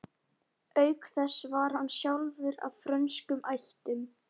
Auk þess var hann sjálfur af frönskum ættum.